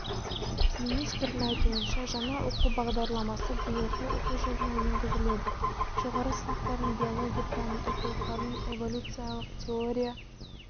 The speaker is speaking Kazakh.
министрдің айтуынша жаңа оқу бағдарламасы биылғы оқу жылына енгізіледі жоғары сыныптардың биология пәнінің оқулықтарынан эволюциялық теория